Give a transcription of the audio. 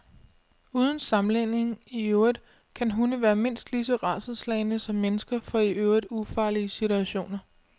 Uden sammenligning i øvrigt kan hunde være mindst lige så rædselsslagne som mennesker for i øvrigt ufarlige situationer.